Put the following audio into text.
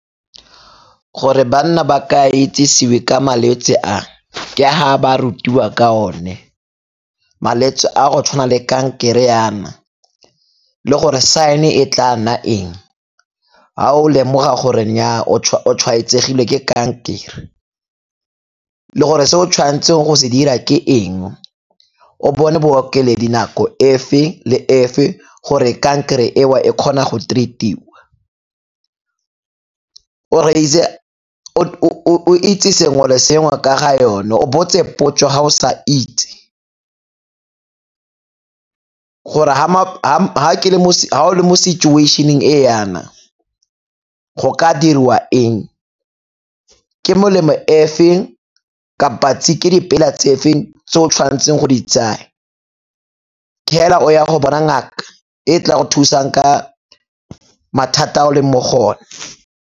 Gore banna ba ka itsesiwe ka malwetsi a ke ha ba rutiwa ka one. Malwetsi a go tshwana le kankere yana le gore sign-e e tla nna eng ga o lemoga gore nnyaa o tshwaetsegile ke kankere le gore se o tshwanetseng go se dira ke eng, o bone nako efe le efe gore kankere eo e kgone go treat-iwa. o itse sengwe le sengwe ka ga yone o botse dipotso ga o sa itse gore ga o le mo situation-eng e yana, go ka diriwa eng, ke molemo e feng kapa ke dipela tse feng tse o tshwanetseng go di tsaya, ke hela o ya go bona ngaka e tla go thusang ka mathata o leng mo go one.